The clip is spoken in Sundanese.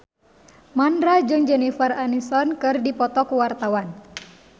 Mandra jeung Jennifer Aniston keur dipoto ku wartawan